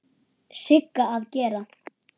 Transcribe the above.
Sigga að gera?